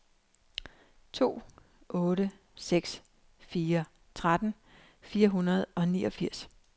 to otte seks fire tretten fire hundrede og niogfirs